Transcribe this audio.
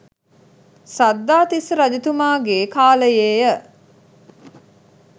සද්ධාතිස්ස රජතුමාගේ කාලයේ ය.